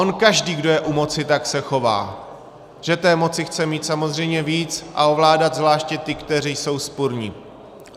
On každý, kdo je u moci, tak se chová, že té moci chce mít samozřejmě víc a ovládat zvláště ty, kteří jsou vzpurní.